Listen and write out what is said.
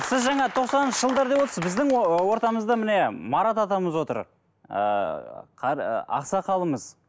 сіз жаңа тоқсаныншы жылдар деп отырсыз біздің ортамызда міне марат атамыз отыр ыыы ақсақалымыз